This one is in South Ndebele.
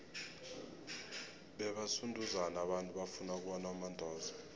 bebasunduzana abantu bafuna ukubona umandoza